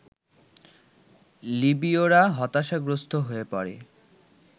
লিবীয়রা হতাশাগ্রস্ত হয়ে পড়ে